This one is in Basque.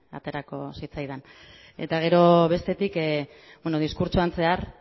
aterako zitzaidan eta gero bestetik diskurtsoan zehar